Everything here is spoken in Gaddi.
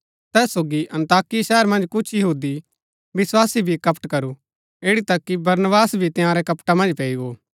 तैस सोगी अन्ताकिया शहर मन्ज कुछ यहूदी विस्वासी भी कपट करू ऐड़ी तक कि बरनबास भी तंयारै कपटा मन्ज पैई गो